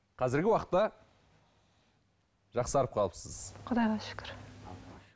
қазіргі уақытта жақсарып қалыпсыз құдайға шүкір